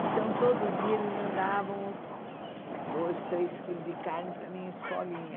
Então, todo dia, eles mandavam dois, três quilos de carne para a minha escolinha.